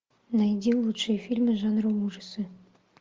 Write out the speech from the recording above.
найди лучшие фильмы жанра ужасы